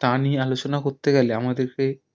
তা নিয়ে আলোচনা করতে গেলে আমাদের কে